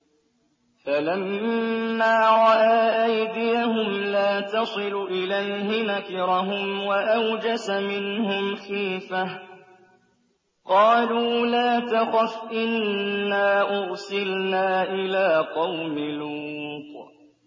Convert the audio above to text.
فَلَمَّا رَأَىٰ أَيْدِيَهُمْ لَا تَصِلُ إِلَيْهِ نَكِرَهُمْ وَأَوْجَسَ مِنْهُمْ خِيفَةً ۚ قَالُوا لَا تَخَفْ إِنَّا أُرْسِلْنَا إِلَىٰ قَوْمِ لُوطٍ